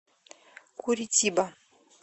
куритиба